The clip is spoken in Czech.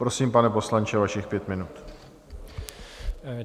Prosím, pane poslanče, vašich pět minut.